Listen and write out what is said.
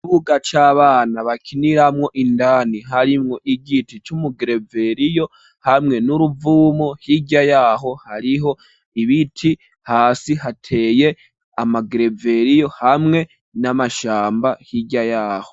Ikibuga c'abana bakiniramwo ,indani harimwo igiti c'umugereveriyo hamwe n'uruvumo hirya yaho hariho ibiti ,hasi hateye amagereveriyo hamwe n'amashamba hirya yaho.